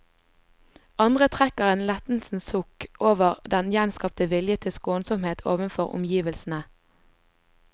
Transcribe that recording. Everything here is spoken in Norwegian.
Andre trekker et lettelsens sukk over den gjenskapte vilje til skånsomhet overfor omgivelsene.